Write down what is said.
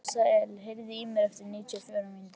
Asael, heyrðu í mér eftir níutíu og fjórar mínútur.